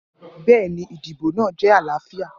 Bẹẹni, idibo naa jẹ alaafia.